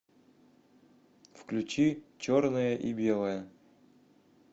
включи черное и белое